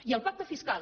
i el pacte fiscal